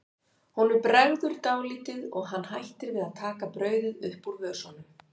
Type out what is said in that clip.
Honum bregður dálítið og hann hættir við að taka brauðið upp úr vösunum.